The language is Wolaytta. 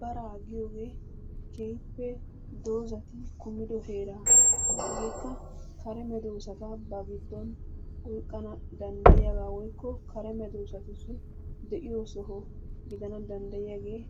Baraa giyoogee keehippe dozzati kummido heera. Hegeekka kare medoosata ba giddon oyqqana danddayiyaba woykko kare medoosatussi de'iyo soho gidana danddayiyaagee